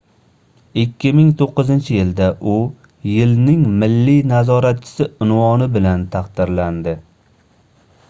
2009-yilda u yilning milliy nazoratchisi unvoni bilan taqdirlandi